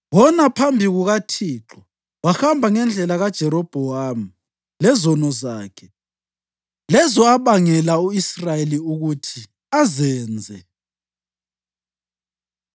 Wona phambi kukaThixo, wahamba ngendlela kaJerobhowamu lezono zakhe, lezo abangela u-Israyeli ukuthi azenze.